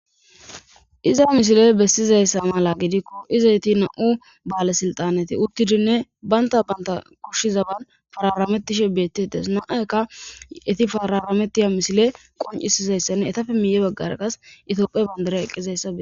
Iza misiley bessizayssa mala gidikko izayti na7u baale silxaneti uttidinne baynta banta kushshi zaban fararamettishe beettites naaykka eti fararametiya mishile qoncisizayssanne etafe miye baggar qas itoophe bandare eqqizaysa.